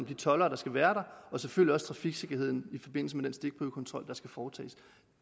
de toldere der skal være der og selvfølgelig også øge trafiksikkerheden i forbindelse den stikprøvekontrol der skal foretages